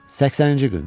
80-ci gün.